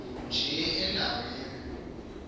nje enda weni